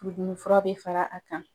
Furudimi fura bɛ fara a kan .